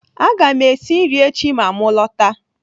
Aga m esi nri echi ma m lọta.